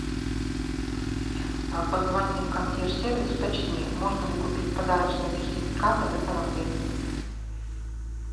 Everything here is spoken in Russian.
позвони в консьерж сервис уточни можно ли купить подарочные сертификаты в этом отеле